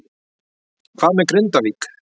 Hvað með Grindavík?